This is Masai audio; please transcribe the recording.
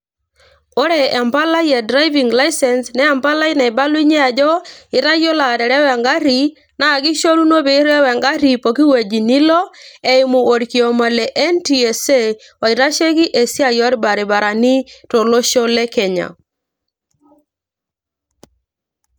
ore empalai e driving licence naa empali naibalunyie ajo itayiolo aterewa engarri naa kishoruno piirew engarri poki wueji nilo eimu orkioma le NTSA oitasheki esiai orbaribarani tolosho le kenya.